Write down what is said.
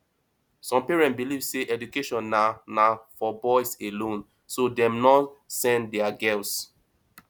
some parents believe sey education na na for boys alone so dem no send di girls